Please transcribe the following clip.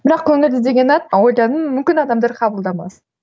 бірақ көңілді деген ат ойладым мүмкін адамдар қабылдамас